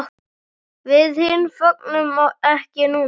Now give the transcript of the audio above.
Við hin fögnum ekki núna.